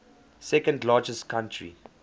second largest country